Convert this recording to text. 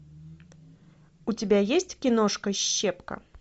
у тебя есть киношка щепка